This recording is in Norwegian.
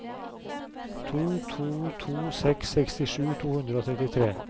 to to to seks sekstisju to hundre og trettitre